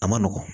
A ma nɔgɔn